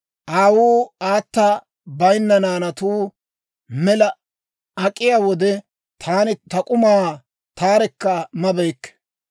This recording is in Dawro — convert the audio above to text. Aawuu aata bayinna naanatuu mela ak'iyaa wode, taani ta k'umaa taarekka mabeykke.